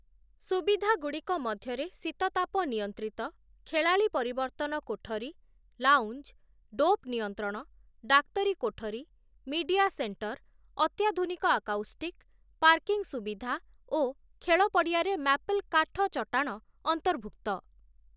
ସୁବିଧାଗୁଡ଼ିକ ମଧ୍ୟରେ ଶୀତତାପ ନିୟନ୍ତ୍ରିତ, ଖେଳାଳି ପରିବର୍ତ୍ତନ କୋଠରୀ, ଲାଉଞ୍ଜ, ଡୋପ୍ ନିୟନ୍ତ୍ରଣ, ଡାକ୍ତରୀ କୋଠରୀ, ମିଡିଆ ସେଣ୍ଟର, ଅତ୍ୟାଧୁନିକ-ଆକାଉଷ୍ଟିକ୍, ପାର୍କିଂ ସୁବିଧା ଓ ଖେଳ ପଡ଼ିଆରେ ମ୍ୟାପଲ୍ କାଠ ଚଟାଣ ଅନ୍ତର୍ଭୁକ୍ତ ।